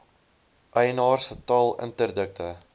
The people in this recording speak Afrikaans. eienaars getal interdikte